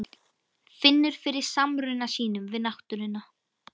Finnur fyrir samruna sínum við náttúruna.